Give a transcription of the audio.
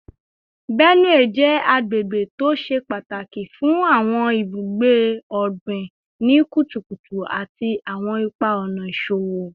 Benue jẹ agbegbe to ṣe pataki fun awọn ibugbe ogbin ni kutukutu ati awọn ipa-ọna iṣowo